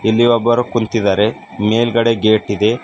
ಇಲ್ಲಿ ಒಬ್ಬರು ಕುಂತಿದ್ದಾರೆ ಮೇಲ್ಗಡೆ ಗೇಟ್ ಇದೆ.